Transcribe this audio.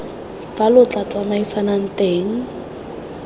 fa lo tla tsamaisanang teng